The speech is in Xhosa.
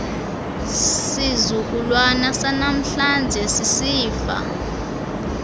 sizukulwana sanamhlanje sisifa